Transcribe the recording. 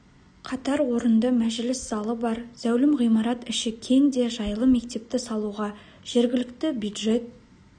қатар орынды мәжіліс залы бар зәулім ғимарат іші кең де жайлы мектепті салуға жергілікті бюджет